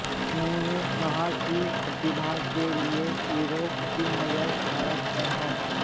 उन्होंने कहा कि प्रतिभा के लिए यूरोप की नजर भारत पर है